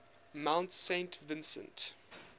mount saint vincent